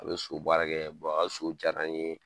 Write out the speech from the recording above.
A bɛ so baara kɛ a ka so diyara n ye,